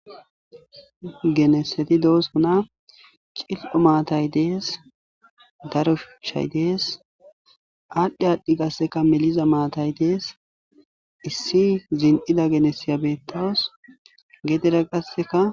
Gennesseti doosona, cililo maatay dees , daro shuchchay dees aadhi aadhi meliza maatay dees issi zin7ida genesiya dawus.